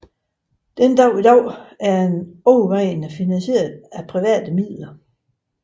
Den dag i dag er den overvejende finanseiret af private midler